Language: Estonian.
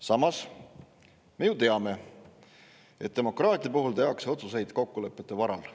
Samas me ju teame, et demokraatia puhul tehakse otsuseid kokkulepete varal.